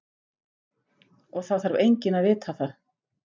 Og það þarf enginn að vita það!